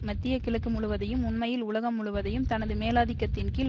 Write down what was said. மத்திய கிழக்கு முழுவதையும் உண்மையில் உலகம் முழுவதையும் தனது மேலாதிக்கத்தின்கீழ்